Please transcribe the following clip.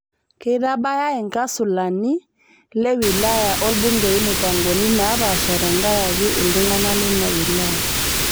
Keitabau ilkansulani le wilaya olbungei mupangoni naapasha tenkaraki ltung'ana le ina wilaya